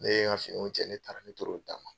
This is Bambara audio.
Ne ye n ka finiw cɛ ne taara n toro n ta kan .